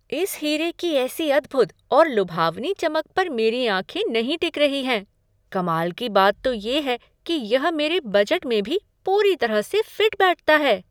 इस हीरे की ऐसी अद्भुद और लुभावनी चमक पर मेरी आँखें नहीं टिक रही हैं! कमाल की बात तो ये है कि यह मेरे बजट में भी पूरी तरह से फिट बैठता है।